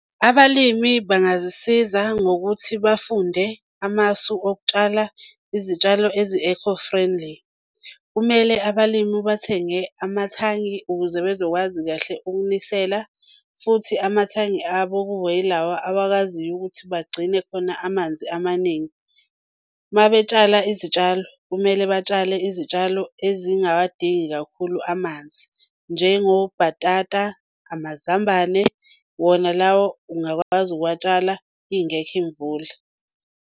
Abalimi bangazisiza ngokuthi bafunde amasu okutshala izitshalo ezi-eco friendly. Kumele abalimu bathenge amathangi ukuze bezokwazi kahle ukunisela futhi amathangi abo kubeyilawa abakwaziyo ukuthi bagcine khona amanzi amaningi. Uma betshala izitshalo kumele batshale izitshalo ezingawadingi kakhulu amanzi njengobhatata, amazambane wona lawo ungakwazi ukuwatshala ingekho imvula.